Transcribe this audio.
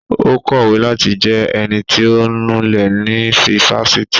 Ó kọ̀wé láti jẹ ẹnití ọ̀ ń nulẹ̀ ní ifásitì